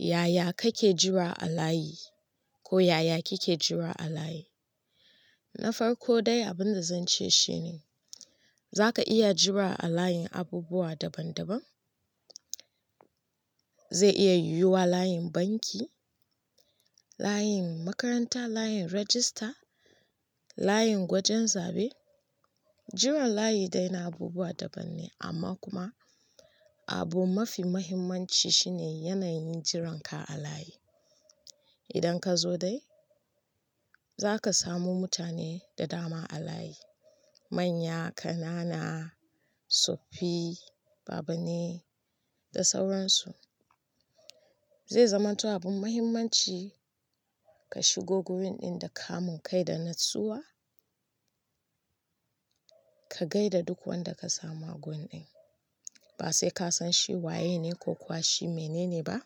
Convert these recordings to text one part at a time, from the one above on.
Yaya kake jira a layi? Ko yaya kike jira a layi? Na farko dai, abin da zan ce shine za ka iya jira a layin abubuwa daban-daban. Zai iya yiwuwa layin banki, layin makaranta, layin rajista, layin gwajen zabe. Jiran layi dai na abubuwa daban ne amma kuma abu mafi mahimmanci shi ne yanayin jiranka a layi. Idan ka zo dai, za ka samu mutane da dama a layi. Manya, ƙanana, tsoffi, baba ne da sauransu. Zai zamanto abin mahimmanci ka shigo gurin ɗin da kamun kai da natsuwa, ka gai da duk wanda ka samu a gun ɗin. Ba sai ka san shi waye ne ko kuwa shi mene ne ba.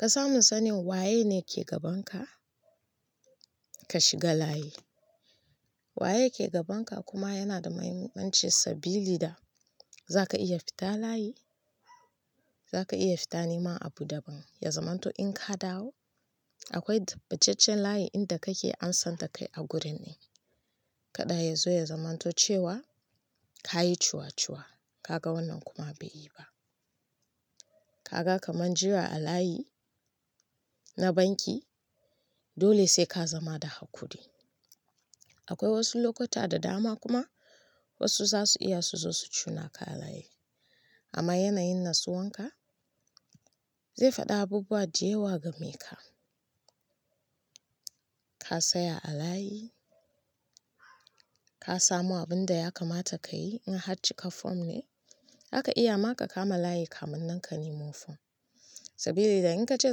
Ka samu sanin waye ne ke gaban ka, ka shiga layi. Waye ke gaban ka kuma yana da mahimmanci sabili da za ka iya fita layi, za ka iya fita niman abu daban. Ya zamanto in ka dawo akwai tabbacaccen layi inda kake an sanda kai a gurin ɗin. Kada ya zo ya zamanto cewa ka yi ciwaciwa, ka ga wannan kuma bai yi ba. Ka ga kaman jira a layi na banki dole sai ka zama da hakuri. Akwai wasu lokuta da dama kuma wasu za su iya su zo su cuna ka a layi. Amma yanayin natsuwan ka zai faɗa abubuwa da yawa game ka. Ka tsaya a layi, ka samo abin da ya kamata ka yi in har cika fom ne, zaka iya ma ka kama layi kamun nan ka nimo fom. Sabili da in ka ce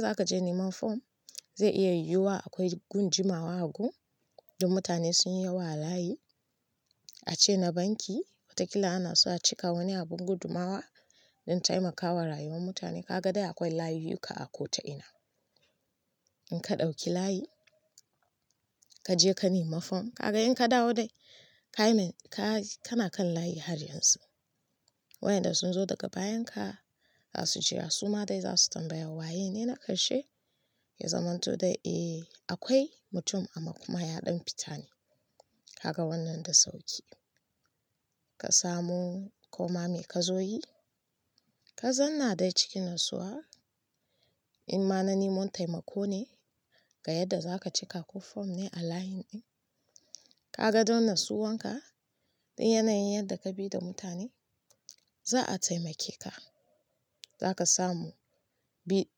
za ka je niman fom zai iya yiwuwa akwai gun jimawa a gun don mutane sun yi yawa a layi. A ce na banki watakila ana so a cika wani abun gudumawa don taimakawa rayuwar mutane. Ka ga dai akwai layuyyuka a ko ta'ina. In ka ɗauki layi, ka je ka nima fom, ka ga in ka dawo dai, ka yi mai-- ka, kana kan layi har yanzu. Wayanda sun zo daga bayan ka za su ce a suma dai za su tambaya waye ne na karshe, ya zamanto dai eh akwai mutum amma kuma ya ɗan fita ne. Kaga wannan da sauki. Ka samu koma me ka zo yi, ka zanna dai cikin natsuwa in ma na niman taimako ne ga yadda za ka cika ko fom ne a layin ɗin. Ka ga don natsuwan ka da yanayin yadda ka bi da mutane za a taimake ka. Za ka samu bi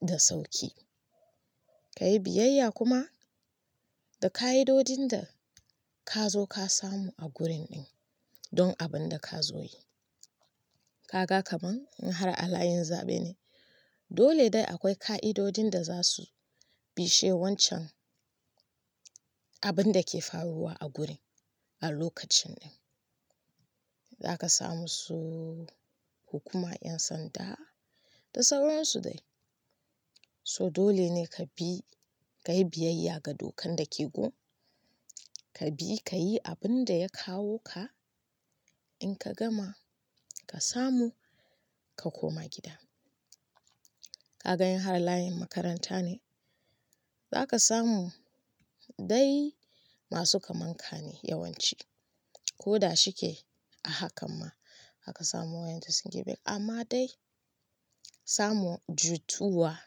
da sauki. Ka yi biyayya kuma da ka idodin da ka zo ka samu a gurin ɗin don abin da ka zo yi. Ka ga kaman in har a layin zabe ne, dole dai akwai ƙa'idodin da za su bishe wancan abin da ke faruwa a gurin a lokacin ɗin. Za ka samu su hukuma, ƴan sanda da sauransu dai. So dole ne ka bi, ka yi biyayya ga dokan da ke gun. Ka bi, ka yi abin da ya kawo ka. In ka gama, ka samu, ka koma gida. Ka ga in har layin makaranta ne, za ka samu dai masu kamanka ne yawanci. Ko da shike a hakan ma za ka samu wayanda sun girme ka. Amma dai samu jituwa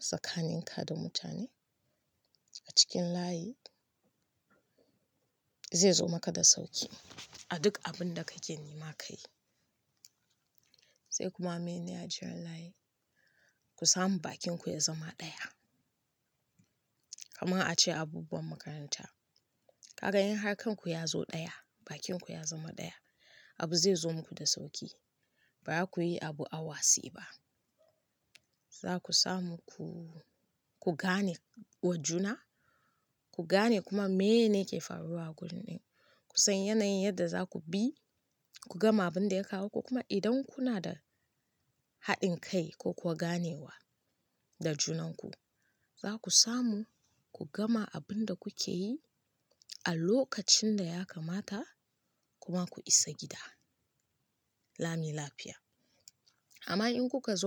tsakanin ka da mutane a cikin layi zai zo maka da sauki a duk abin da kake nima ka yi. Sai kuma mene a jiran layi? Ku samu bakinku ya zama ɗaya. Kaman a ce abubuwan makaranta. Ka ga in harkunku ya zo ɗaya, bakinku ya zama ɗaya, abu zai zo muku da sauki. Ba za ku yi abu awase ba. Za ku samu ku, ku gane wajuna, ku gane kuma meye ne ke faruwa a gurin ɗin, ku san yanayin yadda za ku bi, ku gama abin da ya kawo ku kuma idan kuna da haɗin kai ko kuwa ganewa da junanku za ku samu ku gama abin da kuke yi a lokacin da ya kamata kuma ku isa gida. Lami lafiya. Amma in kuka zo ka.